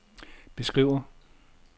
beskriver